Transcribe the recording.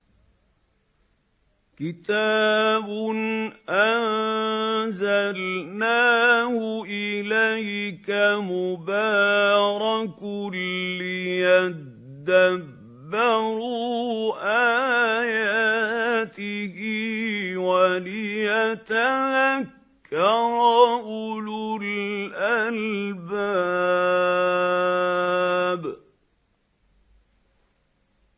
كِتَابٌ أَنزَلْنَاهُ إِلَيْكَ مُبَارَكٌ لِّيَدَّبَّرُوا آيَاتِهِ وَلِيَتَذَكَّرَ أُولُو الْأَلْبَابِ